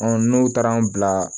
n'u taara n bila